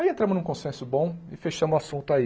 Aí entramos num consenso bom e fechamos o assunto aí.